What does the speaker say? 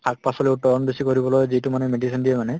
শাক পাচলী উৎপাদন বেছি কৰিবলৈ যিটো মানে medicine দিয়ে মানে